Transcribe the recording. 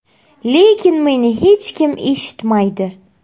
Lekin meni hech kim eshitmaydi.